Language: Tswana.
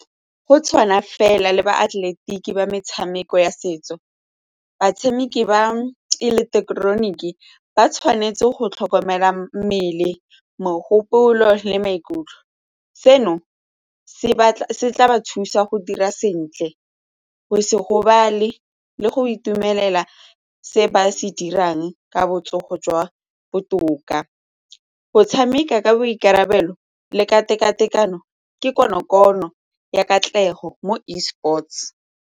Go tshwana fela le baatleletiki ba metshameko ya setso, batshameki ba ele thekeniki ba tshwanetse go tlhokomela mmele, mogopolo le maikutlo. Seno se tla ba thusa go dira sentle go se gobala le le go itumelela se ba se dirang ka botsogo jwa botoka. Go tshameka ka boikarabelo le ka tekatekano ke konokono ya katlego mo Esports.